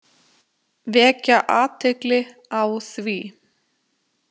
Vekja athygli á því.